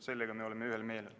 Selles me oleme ühel meelel.